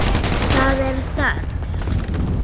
Það er þörf.